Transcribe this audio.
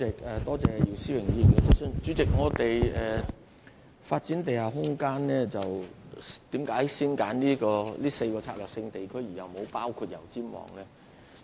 為何我們在發展地下空間時要先揀選這4個策略性地區，而沒有包括油尖旺呢？